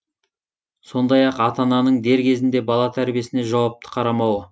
сондай ақ ата ананың дер кезінде бала тәрбиесіне жауапты қарамауы